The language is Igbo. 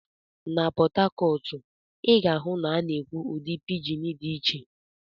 Na Port Harcourt, ị ga-ahụ na a na-ekwu ụdị pidgin dị iche.